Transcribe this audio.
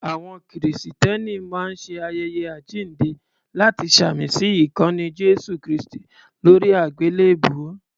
Àwọn Kìrìsìtẹ́ni máa ń ṣe ayẹyẹ Àjíǹde láti ṣàmì sí ikanni Jésù kristi lóri àgbélèbú.